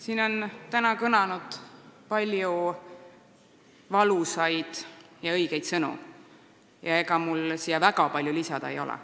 Siin on täna kõlanud palju valusaid ja õigeid sõnu ja ega mul väga palju lisada ei ole.